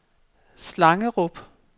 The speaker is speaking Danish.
Slangerup